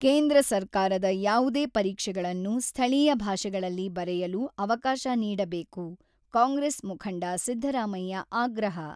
ಕೇಂದ್ರ ಸರ್ಕಾರದ ಯಾವುದೇ ಪರೀಕ್ಷೆಗಳನ್ನು ಸ್ಥಳೀಯ ಭಾಷೆಗಳಲ್ಲಿ ಬರೆಯಲು ಅವಕಾಶ ನೀಡಬೇಕು-ಕಾಂಗ್ರೆಸ್ ಮುಖಂಡ ಸಿದ್ದರಾಮಯ್ಯ ಆಗ್ರಹ.